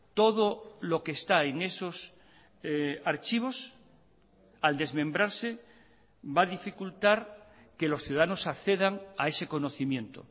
todo lo que está en esos archivos al desmembrarse va a dificultar que los ciudadanos accedan a ese conocimiento